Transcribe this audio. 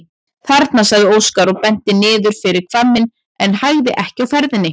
Þarna, sagði Óskar og benti niður fyrir hvamminn en hægði ekki á ferðinni.